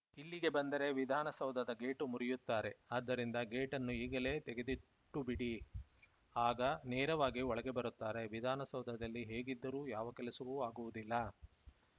ಇಲ್ಲಿಗೆ ಬಂದರೆ ವಿಧಾನಸೌಧದ ಗೇಟು ಮುರಿಯುತ್ತಾರೆ ಆದ್ದರಿಂದ ಗೇಟನ್ನು ಈಗಲೇ ತೆಗೆದಿಟ್ಟುಬಿಡಿ ಆಗ ನೇರವಾಗಿ ಒಳಗೆ ಬರುತ್ತಾರೆ ವಿಧಾನಸೌಧದಲ್ಲಿ ಹೇಗಿದ್ದರೂ ಯಾವ ಕೆಲಸವೂ ಆಗುವುದಿಲ್ಲ